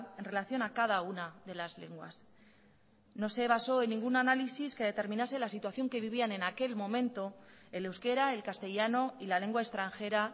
en relación a cada una de las lenguas no se basó en ningún análisis que determinase la situación que vivían en aquel momento el euskera el castellano y la lengua extranjera